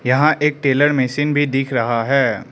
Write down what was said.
यहां एक tailor machine भी दिख रहा है।